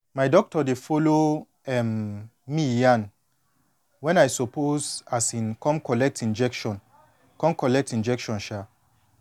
my doctor dey follow um me yan wen i suppose um come collect injection collect injection um